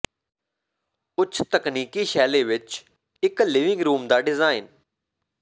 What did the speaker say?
ਉੱਚ ਤਕਨੀਕੀ ਸ਼ੈਲੀ ਵਿੱਚ ਇੱਕ ਲਿਵਿੰਗ ਰੂਮ ਦਾ ਡਿਜ਼ਾਇਨ